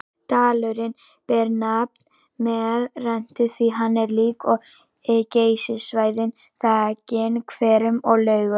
Dalurinn ber nafn með rentu því hann er líkt og Geysissvæðið þakinn hverum og laugum.